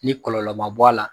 Ni kɔlɔlɔ ma bɔ a la